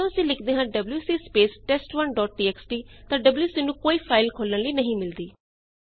ਪਰ ਜਦੋਂ ਅਸੀਂ ਲਿਖਦੇ ਹਾਂ WC space test one dot TXT ਤਾਂ ਡਬਲਯੂਸੀ ਨੂੰ ਕੋਈ ਫਾਈਲ ਖੋਲਣ ਲਈ ਨਹੀਂ ਮਿਲਦੀ